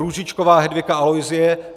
Růžičková Hedvika Aloisie